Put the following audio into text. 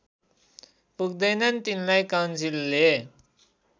पुग्दैनन् तिनलाई काउन्सिलले